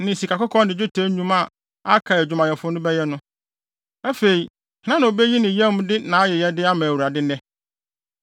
ne sikakɔkɔɔ ne dwetɛ nnwuma a aka a adwumfo no bɛyɛ no. Afei, hena na obeyi ne yam de nʼayɛyɛde ama Awurade nnɛ?”